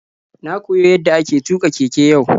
Na koyi yadda ake tuka keke yau.